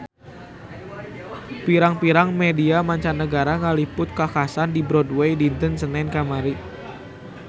Pirang-pirang media mancanagara ngaliput kakhasan di Broadway dinten Senen kamari